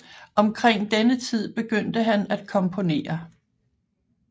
Omkring denne tid begyndte han at komponere